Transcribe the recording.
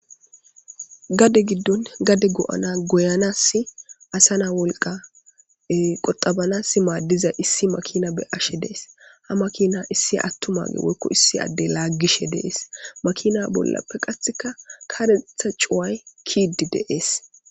gade giddon gade go7ana goyanas asa na wolqa qoxabanas maaddiza issi makina be ashe dees ha makina issi attumaage woykko issi addey laaggishe deees makina bollappe qatheka karetha cuway kiidi deees